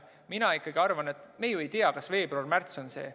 Mina ikkagi arvan, et me ju ei tea, kas veebruar-märts on see aeg.